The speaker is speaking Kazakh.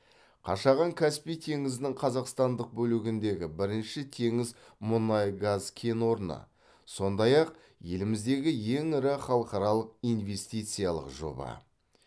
қашаған каспий теңізінің қазақстандық бөлігіндегі бірінші теңіз мұнай газ кен орны сондай ақ еліміздегі ең ірі халықаралық инвестициялық жоба